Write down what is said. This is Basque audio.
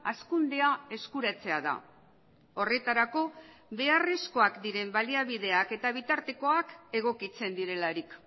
hazkundea eskuratzea da horretarako beharrezkoak diren baliabideak eta bitartekoak egokitzen direlarik